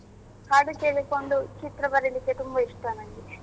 ಹಾಡು ಕೇಳಿಕೊಂಡು ಚಿತ್ರ ಬರಿಲಿಕ್ಕೆ ತುಂಬಾ ಇಷ್ಟ ನಂಗೆ.